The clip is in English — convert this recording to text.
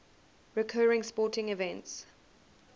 recurring sporting events